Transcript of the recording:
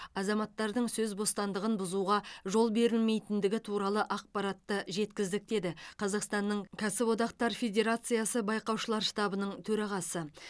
азаматтардың сөз бостандығын бұзуға жол берілмейтіндігі туралы ақпаратты жеткіздік деді қазақстаның кәсіподақтар федерациясы байқаушылар штабының төрағасы